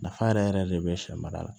Nafa yɛrɛ yɛrɛ yɛrɛ de bɛ sɛ mara la